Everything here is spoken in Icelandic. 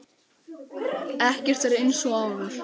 Ekkert er eins og áður.